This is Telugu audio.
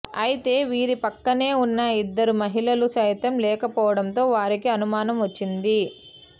అయితే వీరిపక్కనే ఉన్న ఇద్దరు మహిళలు సైతం లేకపోవడంతో వారికి అనుమానం వచ్చింది